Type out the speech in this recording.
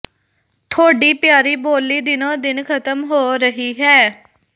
ਥੋਡੀ ਪਿਆਰੀ ਬੋਲੀ ਦਿਨੋਂ ਦਿਨ ਖਤਮ ਹੋ ਰਹੀ ਹੈ